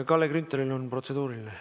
Kalle Grünthalil on protseduuriline.